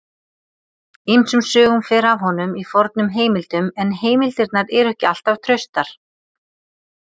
Ýmsum sögum fer af honum í fornum heimildum en heimildirnar eru ekki alltaf traustar.